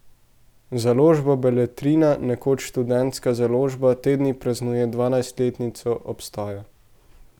Založba Beletrina, nekoč Študentska založba, te dni praznuje dvajsetletnico obstoja.